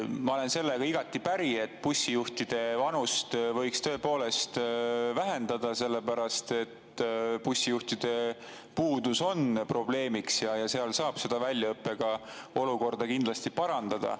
Ma olen sellega igati päri, et bussijuhtide vanuse võiks tõepoolest alandada, sellepärast et bussijuhtide puudus on probleem ja väljaõppega saab kindlasti olukorda parandada.